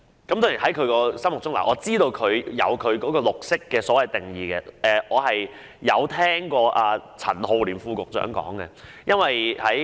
當然，我知道它心目中有其對"綠色"的定義，而我亦曾聽過陳浩濂副局長的解說。